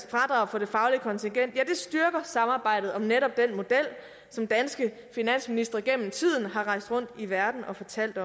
fradrag for det faglige kontingent styrker samarbejdet om netop den model som danske finansministre gennem tiden har rejst rundt i verden og fortalt